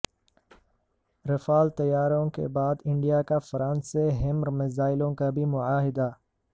Rafale طیاروں کے بعد انڈیا کا فرانس سے ہیمر میزائلوں کا بھی معاہدہ